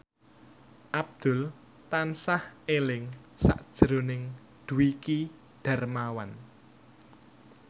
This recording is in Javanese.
Abdul tansah eling sakjroning Dwiki Darmawan